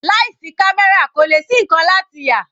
Láì sí camera kò lè ṣí nkankan láti yà.